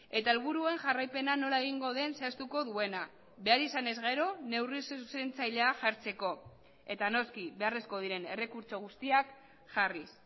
eta helburuen jarraipena nola egingo den zehaztuko duena behar izanez gero neurri zuzentzailea jartzeko eta noski beharrezkoak diren errekurtso guztiak jarriz